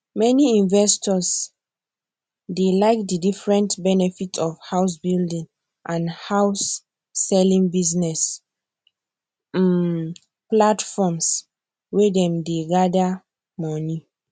many investors dey like the different benefits of housebuilding and houseselling business um platforms wey dem dey gather money